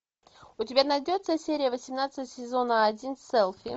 у тебя найдется серия восемнадцать сезона один селфи